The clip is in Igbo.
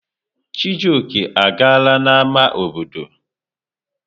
Chijioke, agala n'ámá obodo!